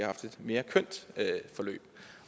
haft et mere kønt forløb